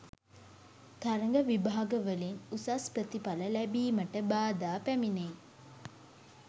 තරග විභාගවලින් උසස් ප්‍රතිඵල ලැබීමට බාධාපැමිණෙයි